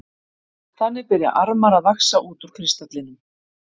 Þannig byrja armar að vaxa út úr kristallinum.